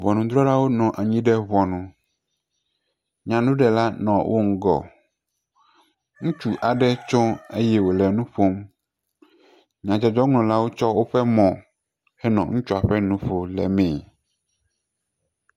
Ŋɔnudrɔlawonɔ anyi ɖe ŋunu. Nyanuɖela nɔ wo ŋgɔ. Ŋutsu aɖe tso eye wole nu ƒom. Nyadzɔdzɔŋlɔlawo tsɔ woƒe mɔ enɔ ŋutsua ƒe nuƒo le mee.